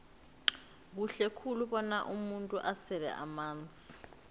kuhle khulu bona umuntu asele amanzi